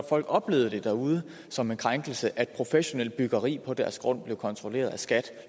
folk oplevede det derude som en krænkelse altså at professionelt byggeri på deres grund blev kontrolleret af skat